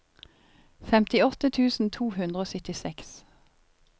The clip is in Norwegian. femtiåtte tusen to hundre og syttiseks